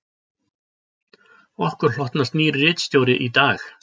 Okkur hlotnast nýr ritstjóri í dag